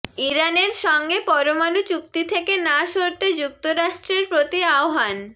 ইরানের সঙ্গে পরমাণু চুক্তি থেকে না সরতে যুক্তরাষ্ট্রের প্রতি আহ্বান